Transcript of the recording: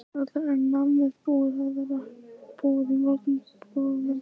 Þórhildur: Er nammið búið að vera búið í mörgum búðum?